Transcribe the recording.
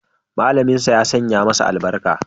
Malaminsa ya sanya masa albarka.